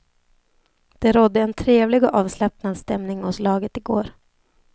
Det rådde en trevlig och avslappnad stämning hos laget i går.